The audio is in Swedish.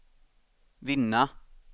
vinna